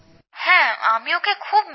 হ্যাঁ আমি ওঁকে খুব মিস করি